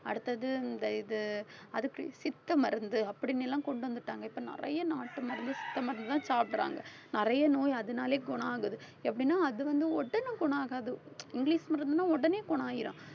அடுத்தது இந்த இது அதுக்கு சித்த மருந்து அப்படின்னு எல்லாம் கொண்டு வந்துட்டாங்க. இப்ப நிறைய நாட்டு மருந்து சித்த மருந்துதான் சாப்பிடுறாங்க. நிறைய நோய் அதனாலயே குணம் ஆகுது. எப்படின்னா அதுவந்து உடனே குணம் ஆகாது இங்கிலிஷ் மருந்துன்னா உடனே குணம் ஆயிரும்.